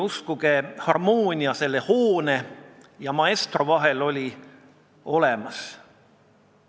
Uskuge, harmoonia selle hoone ja maestro vahel on olemas!